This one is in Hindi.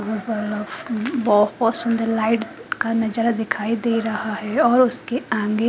बहोत सुंदर लाइट का नजारा दिखाई दे रहा है और उसके आगे--